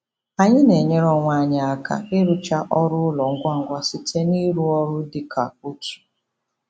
Anyị na-enyere onwe anyị aka ịrụcha ọrụ ụlọ ngwa ngwa site n'ịrụ ọrụ dị ka otu.